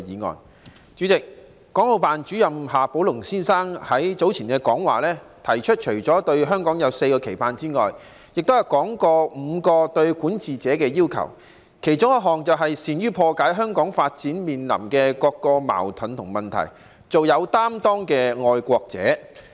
代理主席，港澳辦主任夏寶龍先生在早前講話中，除了提出對香港有4個期盼之外，亦說到5個對管治者的要求，其中一項便是"善於破解香港發展面臨的各種矛盾和問題，做擔當作為的愛國者"。